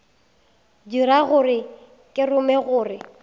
dira gore ke rume gore